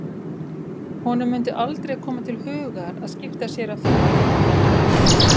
Honum mundi aldrei koma til hugar að skipta sér af fíkniefnum!